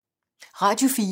Radio 4